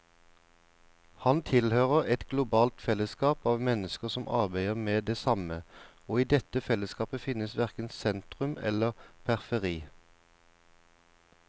Han tilhører et globalt fellesskap av mennesker som arbeider med det samme, og i dette fellesskapet fins verken sentrum eller periferi.